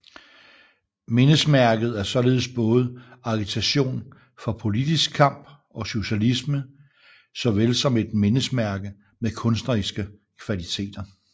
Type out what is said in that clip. Mindesmærket er således både agitation for politisk kamp og socialisme såvel som et mindesmærke med kunstneriske kvaliteter